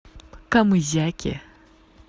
камызяке